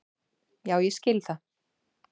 Já ég skil það.